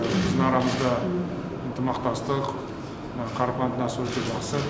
біздің арамызда ынтымақтастық қарым қатынас өте жақсы